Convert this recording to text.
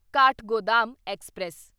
Kathgodam express